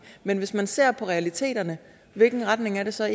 men hvis man ser på realiteterne hvilken retning er det så